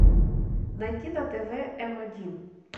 найти на тв м один